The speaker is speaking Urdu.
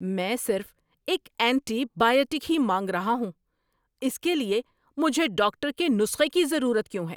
میں صرف ایک اینٹی بائیوٹک ہی مانگ رہا ہوں! اس کے لیے مجھے ڈاکٹر کے نسخے کی ضرورت کیوں ہے؟